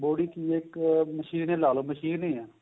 body ਕਿ ਏ ਇੱਕ machine ਏ ਲਾਲੋ machine ਏ ਹੈ